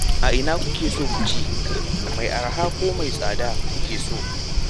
A ina kuke son ku ci? Mai araha ko mai tsada kuke so?